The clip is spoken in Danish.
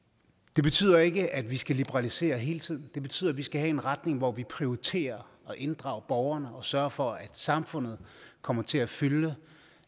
det betyder ikke at vi skal liberalisere hele tiden det betyder at vi skal have en retning hvor vi prioriterer at inddrage borgerne og sørger for at samfundet kommer til at fylde